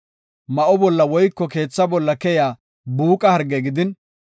Ma7o bolla woyko keetha bolla keyiya buuqa harge gidin,